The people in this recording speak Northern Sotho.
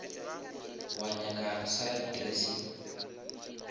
wa nyaka salad dressing